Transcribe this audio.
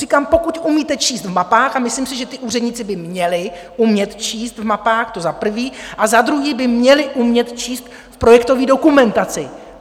Říkám, pokud umíte číst v mapách, a myslím si, že ti úředníci by měli umět číst v mapách, to za prvé, a za druhé by měli umět číst v projektové dokumentaci.